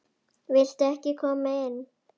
Viltu ekki koma inn?